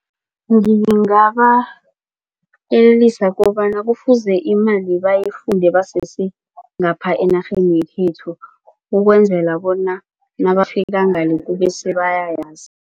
Ngingabayelelisa kobana kufuze imali bayifunde basesengapha enarheni yekhethu ukwenzela bona nabafika ngale kube sebayayazi.